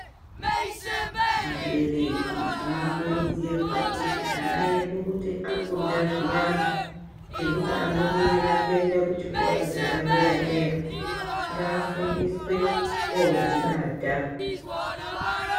Abereki tinokurudzirwa kuti ana edu kuti akunda zviyani zvokuti abudirira kuenda kuchikora chepadera dera ngafundiswe kodzibata.